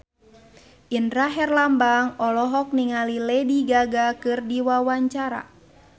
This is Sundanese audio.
Indra Herlambang olohok ningali Lady Gaga keur diwawancara